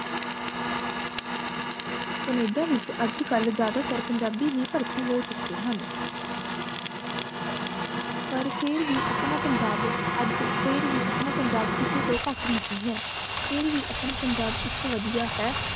Canada ਵਿਚ ਅਜ ਕਲ ਜ਼ਿਆਦਾ ਤਰ ਪੰਜਾਬੀ ਹੀ ਭਰਤੀ ਹੋ ਚੁਕੇ ਹਨ ਪਰ ਫੇਰ ਵੀ ਅਪਣਾ ਪੰਜਾਬ ਅਜ ਫੇਰ ਵੀ ਅਪਣਾ ਪੰਜਾਬ ਕਿਸੇ ਤੋਂ ਘਟ ਨਹੀਂ ਹੈ ਫੇਰ ਵੀ ਅਪਣਾ ਪੰਜਾਬ ਇਕ ਵਧਿਆ ਹੈ